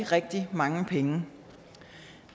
rigtig mange penge